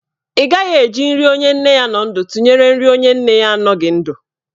Ị gaghị eji nri onye nne ya nọ ndụ tụnyere nri onye nne ya anọghị ndụ.